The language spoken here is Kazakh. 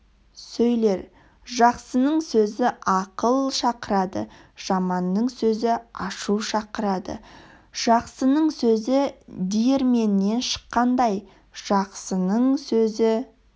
сөйлер жақсының сөзі ақыл шақырады жаманның сөзі ашу шақырады жақсының сөзі диірменнен шыққандай жақсының сөзі